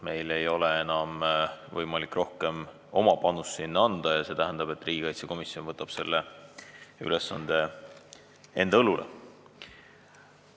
Meil ei ole enam võimalik rohkem oma panust sinna anda ja see tähendab, et riigikaitsekomisjon võtab selle ülesande enda õlule.